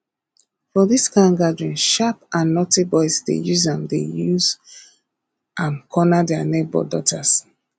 for this kind gathering sharp and naughty boys dey use am dey use am corner their neighbour daughters